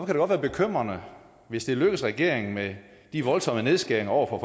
det godt være bekymrende hvis det lykkes for regeringen med de voldsomme nedskæringer over for